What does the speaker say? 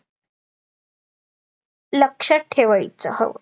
लक्षात ठेवायचा हो